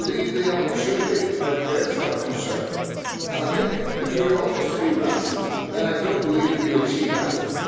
But I believe the opportunity outweighs that concern, and I think that, if we are always to be reticent, then I do not believe we will achieve anything.